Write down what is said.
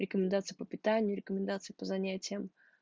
рекомендации по питанию рекомендации по занятиям